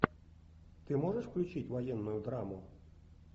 ты можешь включить военную драму